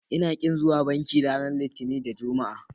Ina ƙin zuwa banki ranar Litinin da Juma'a.